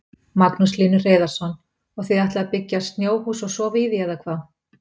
Magnús Hlynur Hreiðarsson: Og þið ætlið að byggja snjóhús og sofa í því eða hvað?